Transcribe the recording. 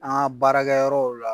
An ga baarakɛ yɔrɔ la